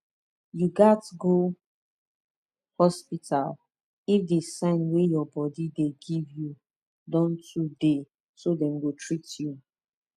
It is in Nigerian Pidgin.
you gats go hospital if the sign wey your body dey give you don too theyso dem go treat you